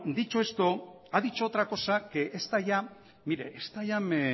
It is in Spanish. dicho esto ha dicho otra cosa mire esta ya me